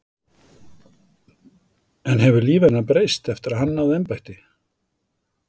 En hefur líf hennar breyst eftir að hann náði embætti?